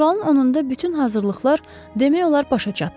Fevralın 10-da bütün hazırlıqlar demək olar başa çatdı.